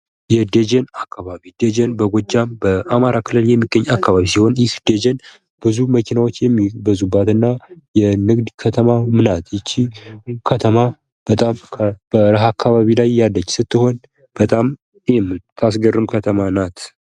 የደጀን አካባቢ ደጀን በጎጃም በአማራ ክልል የሚገኝ አካባቢ ሲሆን ይህ ደጀን ብዙ መኪናዎች የሚበዙባትና የንግድ ከተማም ናት ይቺ ከተማ በጣም በረሀ አካባቢ ላይ ያለች ስትሆን በጣም የምታስገርም ከተማም ናት።